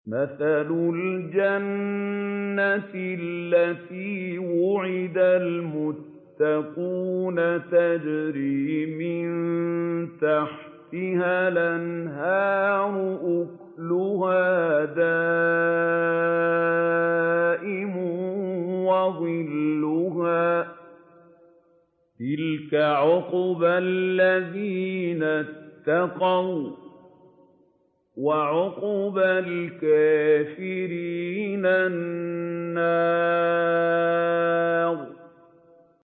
۞ مَّثَلُ الْجَنَّةِ الَّتِي وُعِدَ الْمُتَّقُونَ ۖ تَجْرِي مِن تَحْتِهَا الْأَنْهَارُ ۖ أُكُلُهَا دَائِمٌ وَظِلُّهَا ۚ تِلْكَ عُقْبَى الَّذِينَ اتَّقَوا ۖ وَّعُقْبَى الْكَافِرِينَ النَّارُ